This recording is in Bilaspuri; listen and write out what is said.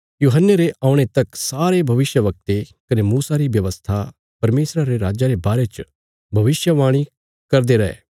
यूहन्ने रे औणे तक सारे भविष्यवक्ते कने मूसा री व्यवस्था परमेशरा रे राज्जा रे बारे च भविष्यवाणी करदे रै